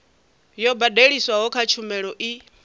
yo badeliswaho kha tshumelo i